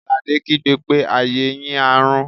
Àlàdé kígbe pé "ayé yín á rún!"